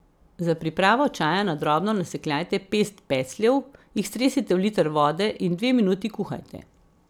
Za pripravo čaja na drobno nasekljajte pest pecljev, jih stresite v liter vrele vode in dve minuti kuhajte.